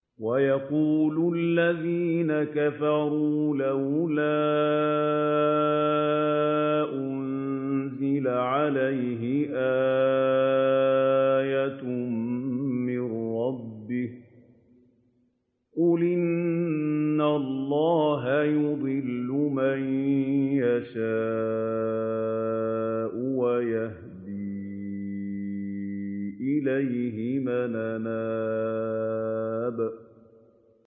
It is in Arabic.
وَيَقُولُ الَّذِينَ كَفَرُوا لَوْلَا أُنزِلَ عَلَيْهِ آيَةٌ مِّن رَّبِّهِ ۗ قُلْ إِنَّ اللَّهَ يُضِلُّ مَن يَشَاءُ وَيَهْدِي إِلَيْهِ مَنْ أَنَابَ